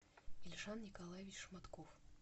эльшан николаевич шматков